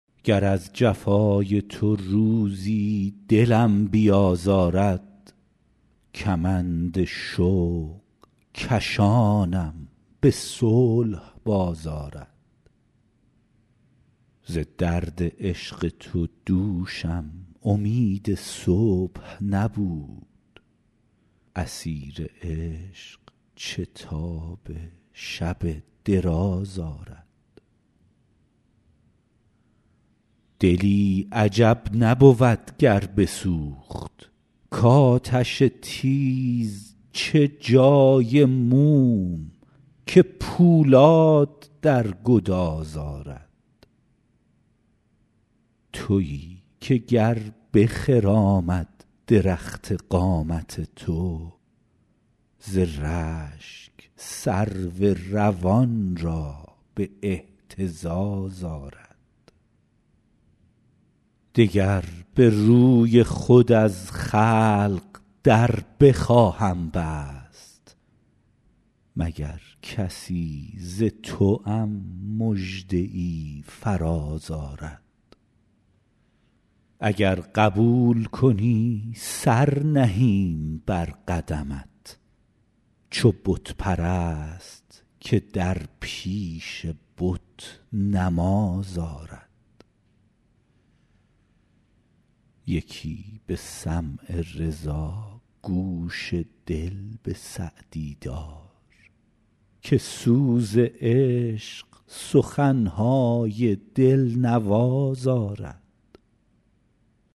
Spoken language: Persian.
گر از جفای تو روزی دلم بیازارد کمند شوق کشانم به صلح باز آرد ز درد عشق تو دوشم امید صبح نبود اسیر عشق چه تاب شب دراز آرد دلی عجب نبود گر بسوخت کآتش تیز چه جای موم که پولاد در گداز آرد تویی که گر بخرامد درخت قامت تو ز رشک سرو روان را به اهتزاز آرد دگر به روی خود از خلق در بخواهم بست مگر کسی ز توام مژده ای فراز آرد اگر قبول کنی سر نهیم بر قدمت چو بت پرست که در پیش بت نماز آرد یکی به سمع رضا گوش دل به سعدی دار که سوز عشق سخن های دل نواز آرد